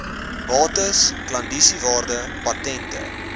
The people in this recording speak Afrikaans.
bates klandisiewaarde patente